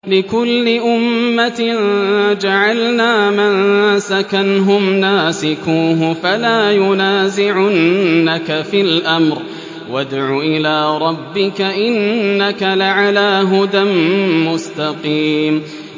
لِّكُلِّ أُمَّةٍ جَعَلْنَا مَنسَكًا هُمْ نَاسِكُوهُ ۖ فَلَا يُنَازِعُنَّكَ فِي الْأَمْرِ ۚ وَادْعُ إِلَىٰ رَبِّكَ ۖ إِنَّكَ لَعَلَىٰ هُدًى مُّسْتَقِيمٍ